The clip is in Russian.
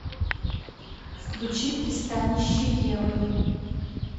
включи пристанище евы